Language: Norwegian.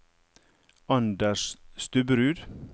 Anders Stubberud